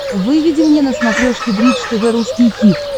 выведи мне на смотрешке бридж тв русский хит